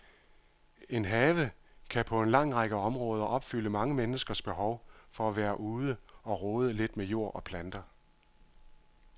En have kan på en lang række områder opfylde mange menneskers behov for at være ude og rode lidt med jord og planter.